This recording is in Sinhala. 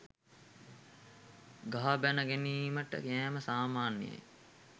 ගහ බැණ ගැනීමට යෑම සාමාන්‍යයයි.